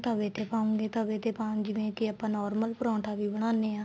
ਤਵੇ ਤੇ ਪਾਉਗੇ ਤਵੇ ਤੇ ਪਾਨ ਜਿਵੇਂ ਕੀ ਆਪਾਂ normal ਪਰੋਂਠਾ ਵੀ ਬਣਾਨੇ ਆ